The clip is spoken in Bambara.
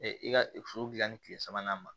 i ka furu dilan ni tile sabanan ma